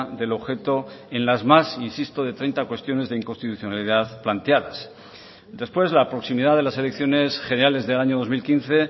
del objeto en las más insisto de treinta cuestiones de inconstitucionalidad planteadas después la proximidad de las elecciones generales del año dos mil quince